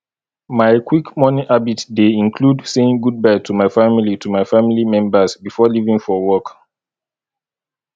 my quick morning habit dey include saying goodbye to my family to my family members before leaving for work